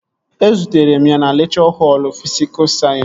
Ezutere m ya na lekchọ họl fisikul sayensị